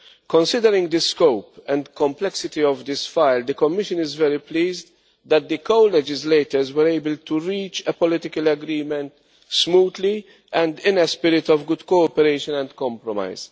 Considering the scope and complexity of this matter, the Commission is very pleased that the co legislators were able to reach a political agreement smoothly and in a spirit of good cooperation and compromise.